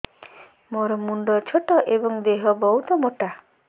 ମୋ ମୁଣ୍ଡ ଛୋଟ ଏଵଂ ଦେହ ବହୁତ ମୋଟା